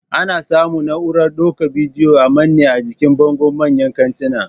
Ana samun na'urar daukan bidiyo a mane jikin bango manyan kantinan